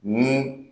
Ni